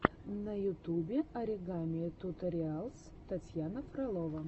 на ютубе оригами туториалс татьяна фролова